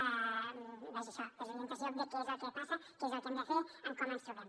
vaja això desorientació de què és el que passa què és el que hem de fer com ens trobem